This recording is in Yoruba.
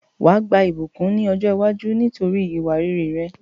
Wàá gba ìbùkún ni ọ̀jọ́ iwájú nítorí ìwà rere rẹ